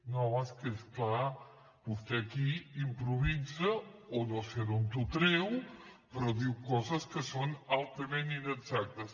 no és que és clar vostè aquí improvisa o no sé d’on ho treu però diu coses que són altament inexactes